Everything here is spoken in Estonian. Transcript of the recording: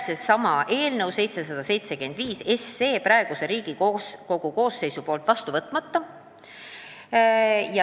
Nii jääks eelnõu 775 praeguses Riigikogu koosseisus vastu võtmata.